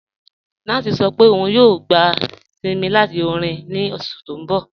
9ice sọ̀ pé ọun yòò gbà isìnmí láti orin ní oṣù tí n bọ̀.